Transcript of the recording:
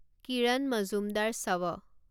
কিৰণ Majumdar শৱ